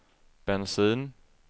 bensin